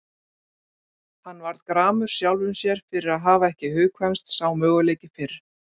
Hann varð gramur sjálfum sér fyrir að hafa ekki hugkvæmst sá möguleiki fyrr.